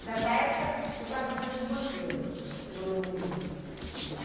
Nessa época você estava mais ou menos com quantos anos, que você morou no Rio? Uns